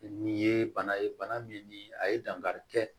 Nin ye bana ye bana min ni a ye dankari kɛ